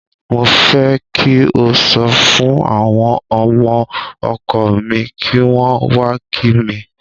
Mo fẹ́ kí o sọ fún àwọn ọmọ ọkọ mi kí wọ́n wá kí mi.